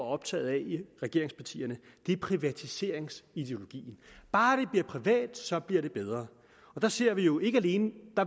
optaget af i regeringspartierne privatiseringsideologien bare det bliver privat så bliver det bedre og der ser vi jo ikke alene